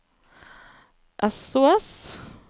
sos